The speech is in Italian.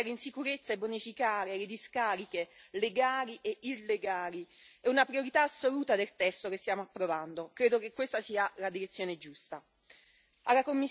Ridurre i rifiuti che finiscono in discarica e mettere in sicurezza e bonificare le discariche, legali e illegali, è una priorità assoluta del testo che stiamo approvando.